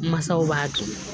Masaw b'a to